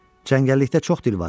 Cəngəllikdə çox dil var.